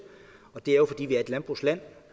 det er jo fordi vi er et landbrugsland